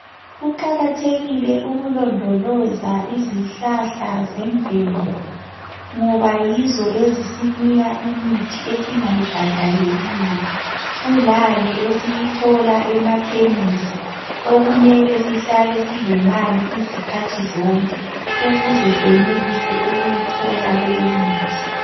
Kuqakathekile ukulondoloza izihlahla zemvelo ngoba yizo ezisinika imithi esingayibhadaleliyo kulale esiyithola emakhemisi okumele sihlale silemali izikhathi zonke ukuze senelise ukuyithola.